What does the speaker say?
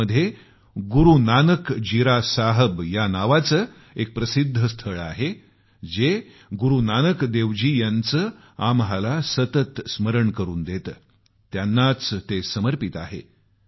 बिदरमध्ये गुरूनानक जीरा साहब नावाचे एक प्रसिद्ध स्थळ आहे जे गुरूनानक देवजी यांचं सतत आम्हाला स्मरण करून देतं त्यांनाच ते समर्पित आहे